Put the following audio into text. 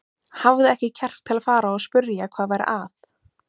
Hafði ekki kjark til að fara og spyrja hvað væri að.